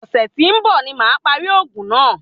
Ọ̀sẹ̀ tí ń bọ̀ ní màá parí òògùn náà.